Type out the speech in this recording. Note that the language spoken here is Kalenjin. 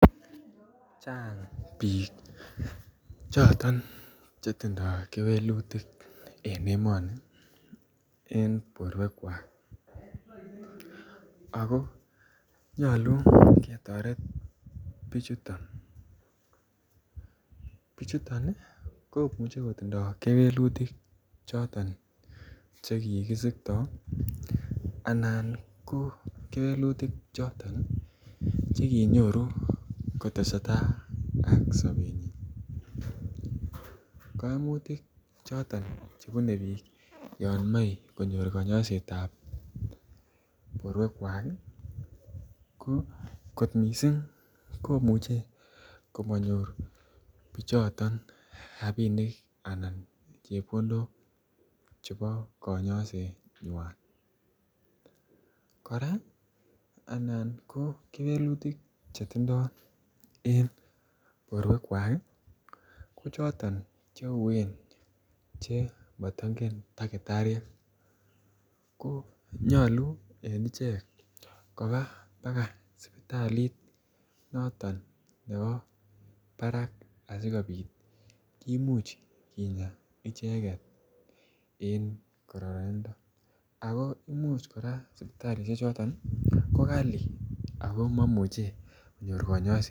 Chang bik en emoni Che tindoi kewelutik en borwekwak ako nyolu ketoret bichuto bichuto komuche kotindoi kewelutik choton Che kikisiktoi anan ko kewelutik Che kinyoru kotesetai ak sobenyin koimutik choton Che bune bik yon moe konyor konyoiset ab borwekwak kot mising komuche komanyor bichoton rabinik anan chepkondok chebo konyosenywan kora anan ko kewelutik Che tindoi en borwekwak ko choton Che uueen Che mato ingen takitariek ko nyolu en ichek koba baka sipitalit noton nebo barak asikobit kimuch kinyaa icheget en kororinindo ako kimuch kora Imuch sipitalisiechoto ko kali ako maimuche konyor kanyaiset